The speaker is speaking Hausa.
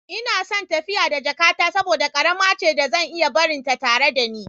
Ina son tafiya da jakata saboda ƙarama ce da zan iya barinta tare da ni.